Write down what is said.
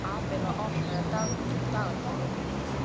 Abela, opnaðu dagatalið mitt.